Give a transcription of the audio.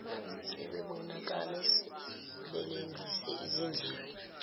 sebebonakala belengise izindebe